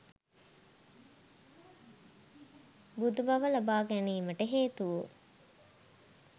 බුදුබව ලබාගැනීමට හේතු වූ